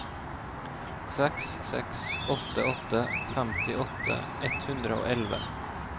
seks seks åtte åtte femtiåtte ett hundre og elleve